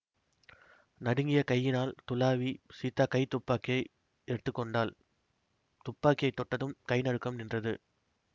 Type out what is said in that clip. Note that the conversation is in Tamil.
நடுங்கிய கையினால் துளாவிச் சீதா கை துப்பாக்கியை எடுத்துக்கொண்டாள் துப்பாக்கியை தொட்டதும் கைநடுக்கமும் நின்றது